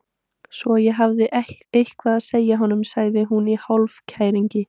Svo ég hafi eitthvað að segja honum, sagði hún í hálfkæringi.